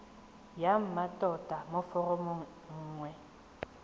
ya mmatota mo foromong nngwe